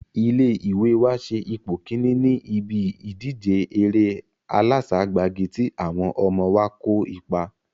Ilé ìwé wa se ipò kíní ní ibí ìjíde eré aláságbagi tí àwọn ọmọ wa kó ipa